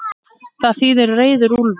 Það þýðir reiður úlfur.